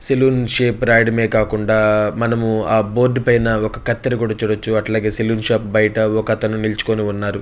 Salon shop రాయడమే కాకుండా మనము ఆ బోర్డు పైన ఒక కత్తారే కూడా చూడొచ్చు అట్లాగే సలోన్ షాప్ బయట ఒకతనునిలుచుకుని ఉన్నాడు.